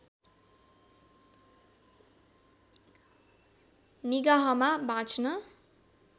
निगाहमा बाँच्न